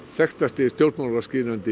þekktasti stjórnmálaskýrandi í